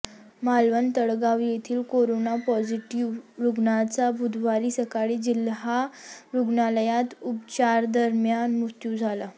मालवण तळगाव येथील corona positive रुग्णाचा बुधवारी सकाळी जिल्हा रुग्णालयात उपचारादरम्यान मृत्यू झाला